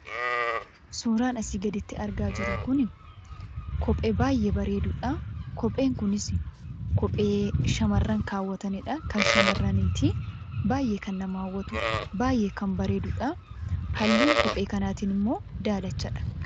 Suuraan asii gaditti argaa jiru kunii kophee baayyee bareedudha. Kopheen kunis kophee shamarran kaawwatanidha. Kan shamarraniiti. baayyee kan nama hawwatu baayyee kan bareedudha. Halluun kophee kanatimmoo daalachadha.